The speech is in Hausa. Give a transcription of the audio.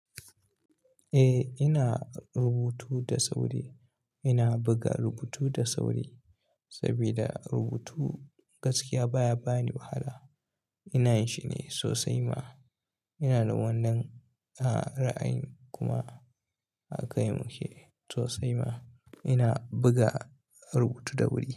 Eh, ina rubutu da sauri. Ina buga rubutu da sauri sabida rubutu gaskiya baya bani wahala. Ina yi shi ne sosai ma. Ina da wannan a ra'ayin kuma a kai mu ke sosai ma. Ina buga rubutu da wuri.